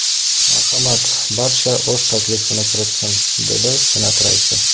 Marhamat, barcha o‘z taklifini kiritsin”, – dedi Senat raisi.